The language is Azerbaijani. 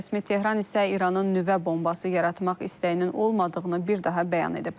Rəsmi Tehran isə İranın nüvə bombası yaratmaq istəyinin olmadığını bir daha bəyan edib.